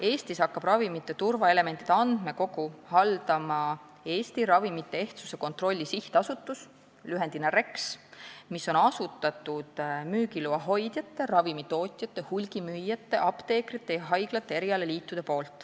Eestis hakkab ravimite turvaelementide andmekogu haldama Eesti Ravimite Ehtsuse Kontrolli Sihtasutus , mille on asutanud müügiloa hoidjad, ravimitootjad, hulgimüüjad, apteekrid ja haiglate erialaliidud.